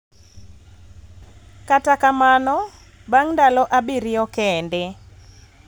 Kata kamano, bang� ndalo abiriyo kende,